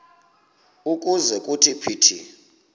ukuze kuthi phithi